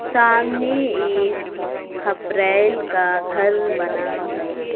सामने एक खपरैल का घर बना है।